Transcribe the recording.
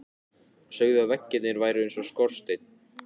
Sögðu að veggirnir væru eins og skorsteinn.